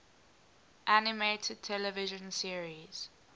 animated television series